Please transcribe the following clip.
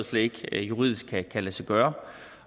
slet ikke juridisk kan lade sig gøre